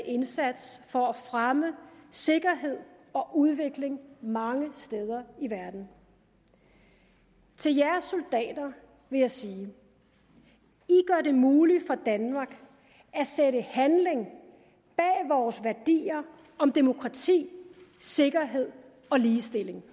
indsats for at fremme sikkerhed og udvikling mange steder i verden til jer soldater vil jeg sige i gør det muligt for danmark at sætte handling bag vores værdier om demokrati sikkerhed og ligestilling